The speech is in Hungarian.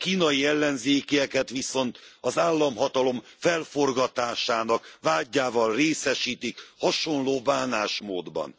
A kínai ellenzékieket viszont az államhatalom felforgatásának vádjával részesítik hasonló bánásmódban.